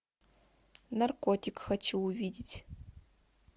наркотик хочу увидеть